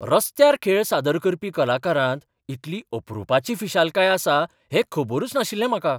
रस्त्यार खेळ सादर करपी कलाकारांत इतली अपरूपाची फिशालकाय आसा हें खबरच नाशिल्लें म्हाका.